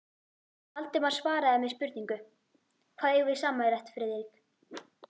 Valdimar svaraði með spurningu: Hvað eigum við sameiginlegt, Friðrik?